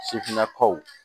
Sifinnakaw